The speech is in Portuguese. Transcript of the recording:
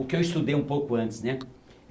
O que eu estudei um pouco antes, né?